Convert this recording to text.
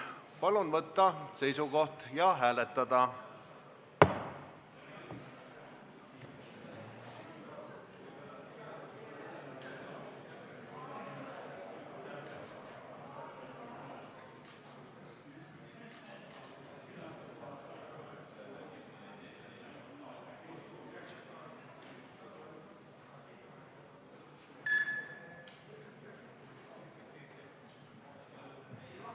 Palun võtta seisukoht ja hääletada!